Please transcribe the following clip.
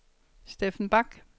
Steffen Bach